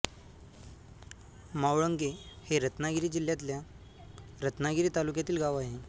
मावळंगे हे रत्नागिरी जिल्ह्यातल्या रत्नागिरी तालुक्यातील गाव आहे